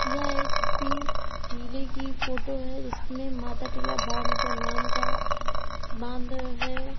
यह एक किसी टीले की फोटो है जिसमें माताटीला बांध का नाम का बांध है।